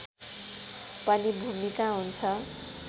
पनि भूमिका हुन्छ